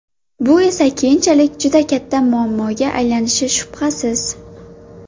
Bu esa keyinchalik juda katta muammoga aylanishi shubhasiz.